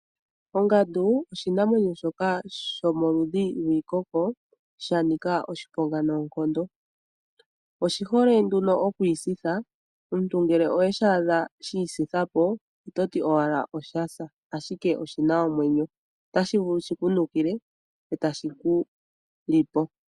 Ongandu oshinamwenyo shoka shomolundhiwiikoko shanika oshiponga noonkondo oshi hole nduno okwiisitha, omuntu ngele owa adha shhisitha po ototi owala oshasa ashike oshina omwenyo otashi vulu shiku ntukile eetashi ku lipo.